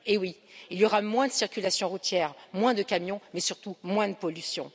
Eh oui, il y aura moins de circulation routière, moins de camions, mais surtout moins de pollution.